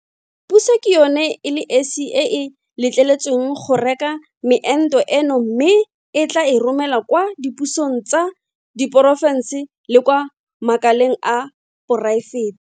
Puso ke yona e le esi e e letleletsweng go reka meento eno mme e tla e romela kwa dipusong tsa diporofense le kwa makaleng a poraefete.